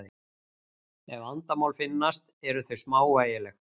Ef vandamál finnast eru þau smávægileg.